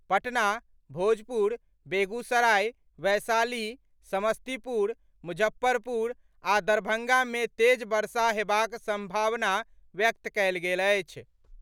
पटना, भोजपुर, बेगूसराय, वैशाली, समस्तीपुर, मुजफ्फरपुर आ दरभंगा मे तेज वर्षा हेबाक सम्भावना व्यक्त कयल गेल अछि।